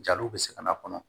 Jaliw bɛ se ka na kɔnɔ